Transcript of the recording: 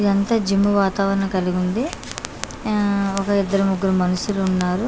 ఇదంతా జిమ్ వాతావరణం కలిగివుంది యా ఒక ఇద్దరు ముగ్గురు మనుషులున్నారు.